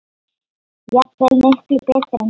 Jafnvel miklu betur en ég.